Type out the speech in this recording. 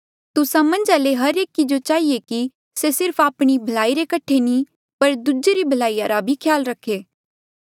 तुस्सा मन्झा ले हर एकी जो चहिए कि से सिर्फ आपणी भलाई रे कठे नी पर दूजे री भलाई रा भी ख्याल रखे